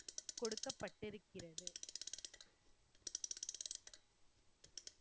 கொடுக்கப்பட்டிருக்கிறது.